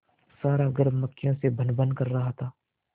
सारा घर मक्खियों से भनभन कर रहा था